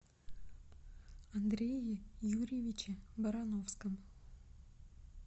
андрее юрьевиче барановском